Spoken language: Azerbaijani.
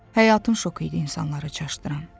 Həyatın şoku idi insanları çaşdıran.